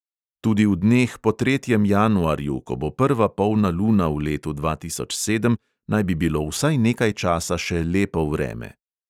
Tudi v dneh po tretjem januarju, ko bo prva polna luna v letu dva tisoč sedem, naj bi bilo vsaj nekaj časa še lepo vreme.